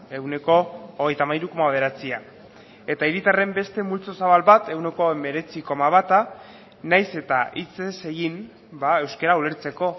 ehuneko hogeita hamairu koma bederatzia eta hiritarren beste multzo zabal bat ehuneko hemeretzi koma bata nahiz eta hitz ez egin euskara ulertzeko